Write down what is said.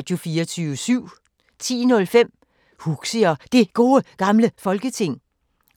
10:05: Huxi og Det Gode Gamle Folketing